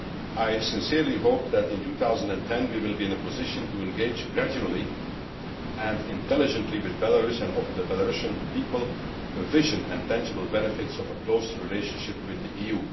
I sincerely hope that in 2010, we will be in a position to engage gradually and intelligently with Belarus and offer the Belarusian people a vision and tangible benefits of a close relationship with the EU.